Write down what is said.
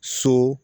So